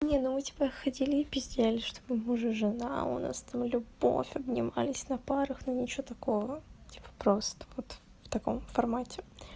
не ну мы типо ходили пиздели что мы муж и жена у нас там любовь обнимались на парах но ничего такого типо просто вот в таком формате